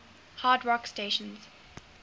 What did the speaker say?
hard rock stations